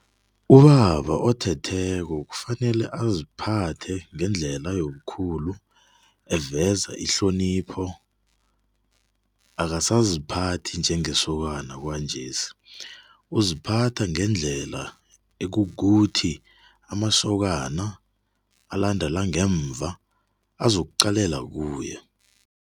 Ubaba othetheko kufanele aziphethe ngendlela yobukhulu eveza ihlonipho, akasaziphathi njengesokana kwanjesi, uziphatha ngendlela ekukuthi amasokana alandelako ngemva azokuqalela kuye.